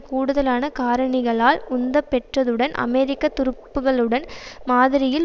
கூடுதலான காரணிகளால் உந்தப்பெற்றதுடன் அமெரிக்க துருப்புக்களுடன் மாதிரியில்